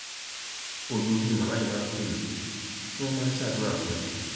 ojoojú ni màmá yìí máa ń pè mí tí wọn máa ń ṣàdúrà fún mi